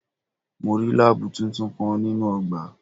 Mo rí láábù tuntun kan nínú ọgbà.